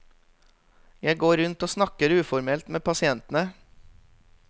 Jeg går rundt og snakker uformelt med pasientene.